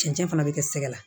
Cɛncɛn fana bɛ kɛ sɛgɛ la